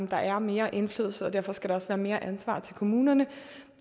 der er mere indflydelse og derfor skal der også være mere ansvar til kommunerne